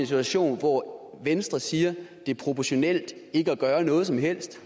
situation hvor venstre siger at det er proportionalt ikke at gøre noget som helst